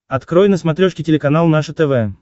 открой на смотрешке телеканал наше тв